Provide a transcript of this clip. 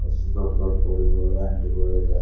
ಅಷ್ಟ ದೊಡ್ಡ ದೊಡ್ಡ ಪೋರಿಗಳು ಆಂಟಿಗಳು ಅದಾರ .